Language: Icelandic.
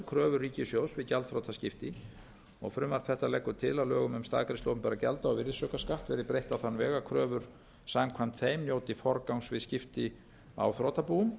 kröfur ríkissjóðs við gjaldþrotaskipti frumvarp þetta leggur til að lögum um staðgreiðslu opinberra gjalda og virðisaukaskatt verði breytt á þann veg að kröfur samkvæmt þeim njóti forgangs við skipti á þrotabúum